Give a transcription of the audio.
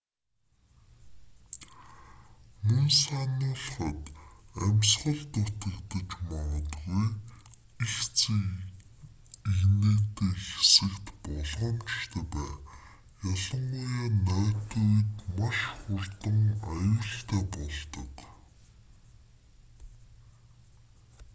мөн сануулахад амьсгал дутагдаж магадгүй эгц эгнээтэй хэсэгт болгоомжтой бай ялангуяа нойтон үед маш хурдан аюултай болдог